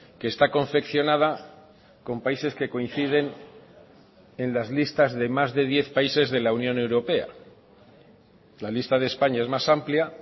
que está confeccionada con países que coinciden en las listas de más de diez países de la unión europea la lista de españa es más amplia